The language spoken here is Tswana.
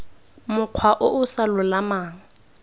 mokgwa o o sa lolamang